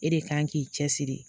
E de kan k'i cɛsiri